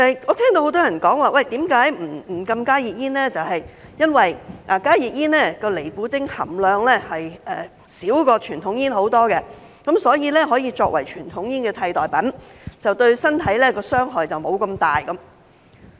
我聽到很多人說，不禁加熱煙是因為加熱煙的尼古丁含量較傳統煙少很多，所以可以作為傳統煙的替代品，對身體的傷害沒有那麼大。